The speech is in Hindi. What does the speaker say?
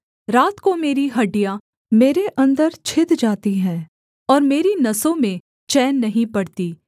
रात को मेरी हड्डियाँ मेरे अन्दर छिद जाती हैं और मेरी नसों में चैन नहीं पड़ती